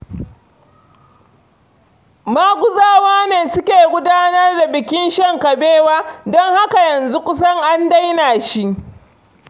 Maguzawa ne suke gudanar da bikin shan kabewa, don haka yanzu kusan an daina shi.